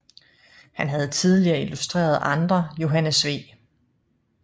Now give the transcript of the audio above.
Han havde tidligere illustreret andre Johannes V